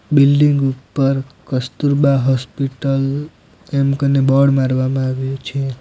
Building ઉપર Kasturba hospital એમ કને બોર્ડ મારવામાં આવ્યું છે.